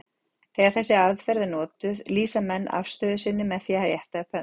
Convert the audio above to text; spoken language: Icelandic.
Þegar þessi aðferð er notuð lýsa menn afstöðu sinni með því að rétta upp hönd.